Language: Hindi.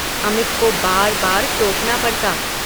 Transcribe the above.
अमित को बार–बार टोकना पड़ता।